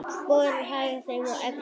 Sporin hræða í þeim efnum.